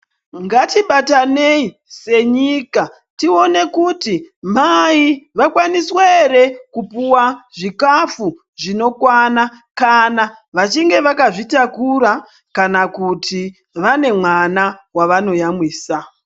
Ngatibatanei senyika tione kuti mai vakwanisa here kupuwa zvikafu zvinokwana kana vachinge vakazvitakura kana kuti vane mwana wavanoyamwisa .